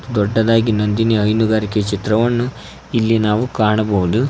ದೊಡ್ಡದಾಗಿ ನಂದಿನಿ ಹೈನುಗಾರಿಕೆ ಚಿತ್ರವನ್ನು ಇಲ್ಲಿ ನಾವು ಕಾಣಬಹುದು.